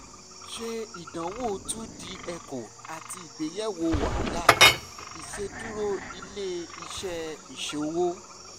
ṣe idanwo two d echo ati igbeyewo wahala iṣeduro ile-iṣẹ iṣowo